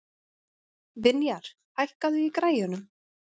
Vinjar, hækkaðu í græjunum.